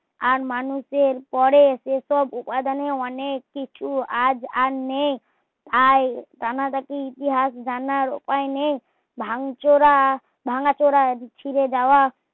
আর মানুষের করে সে সব উপাদান এ অনেক কিছু আজ আর নেই তাই কানারা তে ইতিহাস জানার উপায় নেই ভান চোরা ভাঙ্গা চোরা বিচিদও যাওয়া